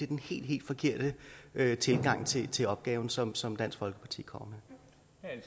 den helt helt forkerte tilgang til til opgaven som som dansk folkeparti kommer med